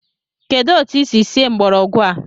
Kedụ etu i si sie mgbọrọgwụ a?